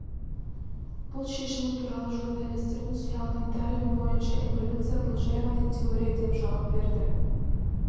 бұл шешімі туралы журналистердің сұрағына дарвин бойынша эволюция бұл жай ғана теория деп жауап берді